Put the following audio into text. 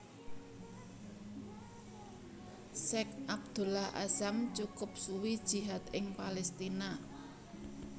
Syeikh Abdullah Azzam cukup suwi jihad ing Palestina